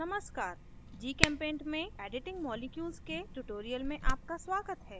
नमस्कार gchempaint में editing molecules के tutorial में आपका स्वागत है